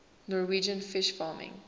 norwegian fish farming